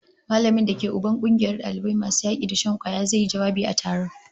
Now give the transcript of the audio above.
Mallamin da ke Uban kungiyar dalibai masu yaki da shan kwaya zai yi jawabi a taron